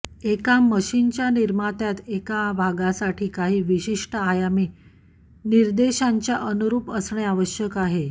एका मशीनच्या निर्मात्यात एका भागासाठी काही विशिष्ट आयामी विनिर्देशांच्या अनुरूप असणे आवश्यक आहे